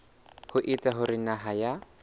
ho etsa hore naha ya